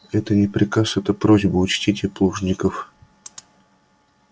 это не приказ это просьба учтите плужников